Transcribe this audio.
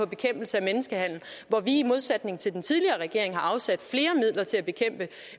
bekæmpelse af menneskehandel hvor vi i modsætning til den tidligere regering har afsat flere midler til at bekæmpe